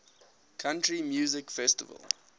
country music festival